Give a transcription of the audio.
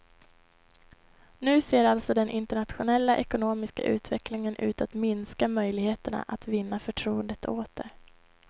Nu ser alltså den internationella ekonomiska utvecklingen ut att minska möjligheterna att vinna förtroendet åter.